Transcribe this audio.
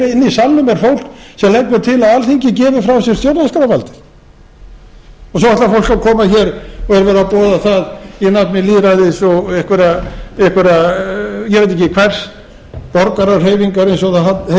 inni í salnum er fólk sem leggur til að alþingi gefi frá sér stjórnarskrárvaldið svo ætlar fólk að koma hér og er að boða það í nafni lýðræðis og einhverrar ég veit ekki hvers borgarahreyfingar eins og það heitir koma hér